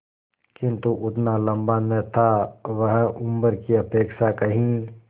किंतु उतना लंबा न था वह उम्र की अपेक्षा कहीं